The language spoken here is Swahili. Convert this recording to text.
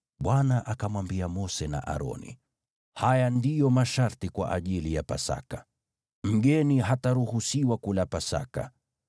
Bwana akamwambia Mose na Aroni, “Haya ndiyo masharti kwa ajili ya Pasaka: “Mgeni hataruhusiwa kula Pasaka.